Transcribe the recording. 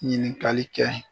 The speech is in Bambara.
Ɲininkali kɛ.